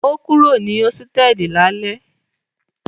O kúrò ní hósítẹ́ẹ́lì lálẹ́?